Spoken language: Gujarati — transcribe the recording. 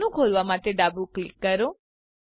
મેનું ખોલવા માટે ડાબું ક્લિક કરો